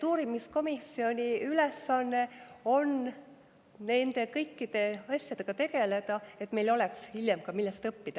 Uurimiskomisjoni ülesanne on nende kõikide asjadega tegeleda, et meil oleks hiljem, millest õppida.